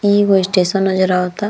ई एगो स्टेशन नजर आवता।